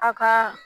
A ka